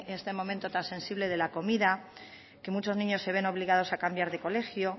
este momento tan sensible de la comida que muchos niños se ven obligados a cambiar de colegio